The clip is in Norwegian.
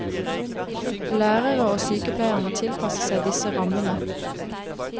Lærere og sykepleiere må tilpasse seg disse rammene.